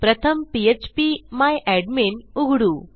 प्रथम PHP my admin उघडू